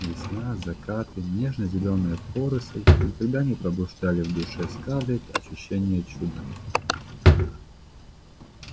весна закаты нежно-зелёная поросль никогда не пробуждали в душе скарлетт ощущения чуда